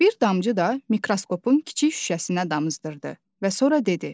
Bir damcı da mikroskopun kiçik şüşəsinə damızdırdı və sonra dedi: